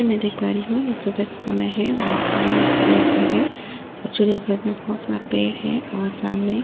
मैं देख पा रही हूं यह समय का समय है और सामने चिड़ियाघर है चिड़ियाघर में बहुत सारे पेड़ हैं और सामने --